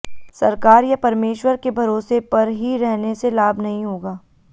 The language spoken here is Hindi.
सरकार या परमेश्वर के भरोसे पर ही रहने से लाभ नहीं होगा